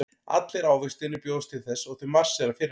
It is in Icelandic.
Allir ávextirnir bjóðast til þess og þau marsera fyrir hann.